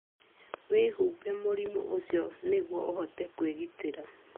Wĩhumbe mũrimũ ũcio nĩguo ũhote kwĩgitĩra.